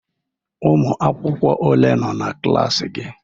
Ụmụ akwụkwọ ole nọ n'klas gị?